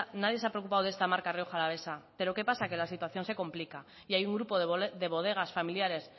nadie se ha preocupado de esta marca rioja alavesa pero qué pasa que la situación se complica y hay un grupo de bodegas familiares